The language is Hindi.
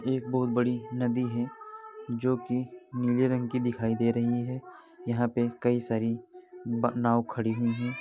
एक बहुत बड़ी नदी है जो की नीले रंग की दिखई दे रही है यहाँ पे कई सारी ब नाव खड़ी हुई है ।